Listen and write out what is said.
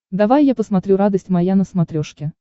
давай я посмотрю радость моя на смотрешке